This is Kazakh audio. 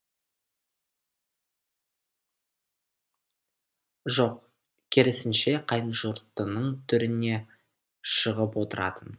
жоқ керісінше қайынжұртының төріне шығып отыратын